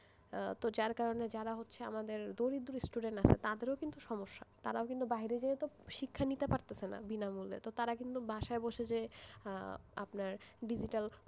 যার কারণে আমাদের যে দরিদ্র student আছে তাদেরও কিন্তু সমস্যা তারাও কিন্তু বাইরে গিয়ে শিক্ষা নিতে পারছে না বিনামূল্যে তারা কিন্তু বাসায় বসে যে আপনার digital,